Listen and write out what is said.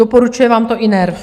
Doporučuje vám to i NERV.